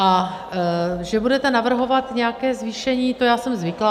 A že budete navrhovat nějaké zvýšení, to já jsem zvyklá.